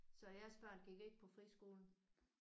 Så jeres børn gik ikke på friskole?